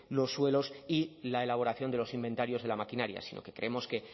los suelos y la elaboración de los inventarios de la maquinaria sino que creemos que en